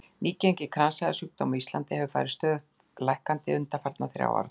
Nýgengi kransæðasjúkdóma á Íslandi hefur farið stöðugt lækkandi undanfarna þrjá áratugi.